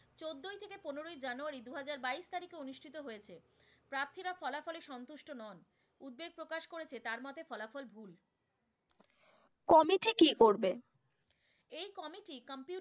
পনেরোই জানুয়ারি দু হাজার বাইশ তারিখে অনুষ্ঠিত হয়েছে। প্রার্থীরা ফলাফলে সন্তুষ্ট নন উদ্বেগ প্রকাশ করেছে, তার মতে ফলাফল ভুল। committee কি করবে? এ committee